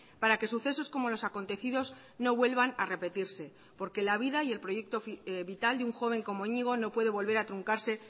para que sucesos como los acontecidos no vuelvan a repetirse porque la vida y el proyecto vital de un joven como iñigo no puede volver a truncarse